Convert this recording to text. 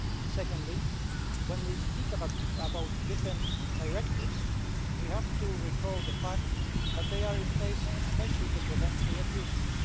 Secondly, when we speak about different directives, we have to recall the fact that they are in place especially to prevent abuses.